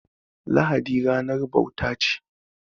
Lahadi ranar bauta ce.